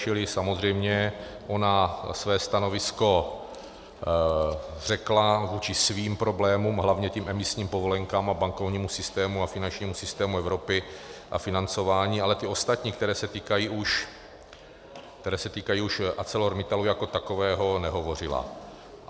Čili samozřejmě ona své stanovisko řekla vůči svým problémům, hlavně těm emisním povolenkám a bankovnímu systému a finančnímu systému Evropy a financování, ale ty ostatní, které se týkají už ArcelorMittalu jako takového, nehovořila.